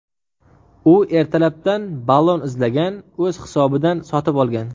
U ertalabdan ballon izlagan, o‘z hisobidan sotib olgan.